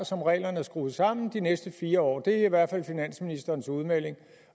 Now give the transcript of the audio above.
og som reglerne er skruet sammen de næste fire år det er i hvert fald finansministerens udmelding